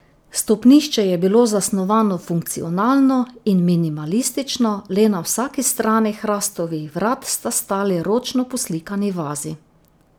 Stopnišče je bilo zasnovano funkcionalno in minimalistično, le na vsaki strani hrastovih vrat sta stali ročno poslikani vazi.